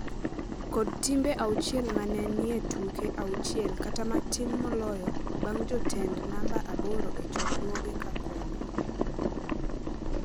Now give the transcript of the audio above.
kod timbe auchiel ma ne ni e tuke auchiel kata matin moloyo bang’ jotend namba aboro e chokruoge ka kombe.